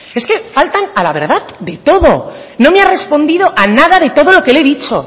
es que faltan a la verdad de todo no me ha respondido a nada de todo lo que le he dicho